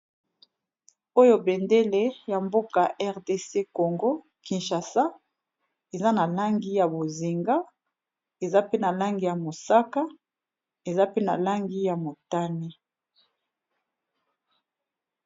Oyo bendele ya mboka RDC Congo Kinshasa, eza na langi ya bozinga, eza pe na langi ya mosaka eza pe na langi ya motane.